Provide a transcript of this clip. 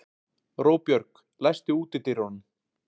Róbjörg, læstu útidyrunum.